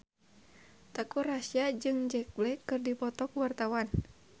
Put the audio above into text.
Teuku Rassya jeung Jack Black keur dipoto ku wartawan